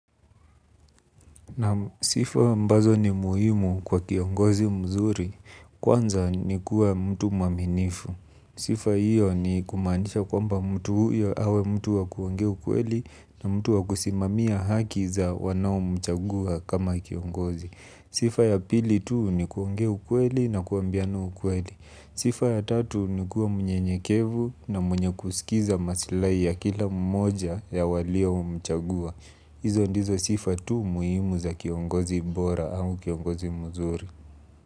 Sifa ambazo ni muhimu kwa kiongozi mzuri. Kwanza ni kuwa mtu mwaminifu. Sifa hiyo ni kumaanisha kwamba mtu huyo awe mtu wa kuongea ukweli na mtu wa kusimamia haki za wanao mchagua kama kiongozi. Sifa ya pili tuu ni kuongea ukweli na kuambiana kweli. Sifa ya tatu ni kuwa mnyenyekevu na mwenye kusikiza masilai ya kila mmoja ya walio mchagua. Hizo ndizo sifa tu muhimu za kiongozi bora au kiongozi mzuri.